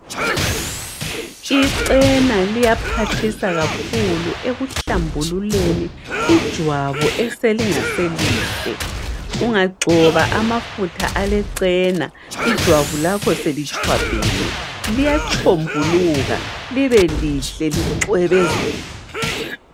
Icena liyaphathisa kakhulu ekuhlambululeni ijwabu eselingaselihle. Ungagcoba amafutha alecena ijwabu lakho selitshwabhene liyatshombuluka libe lihle licwebezele.